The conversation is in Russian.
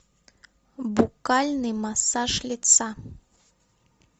буккальный массаж лица